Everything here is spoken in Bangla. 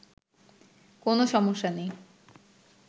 কোন সমস্যা নেই